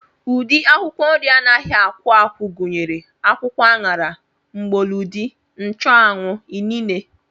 Ụdị akwụkwọ nri anaghị akwụ akwụ gụnyere akwụkwọ aṅara, mgbọlọdị, nchụanwụ, inine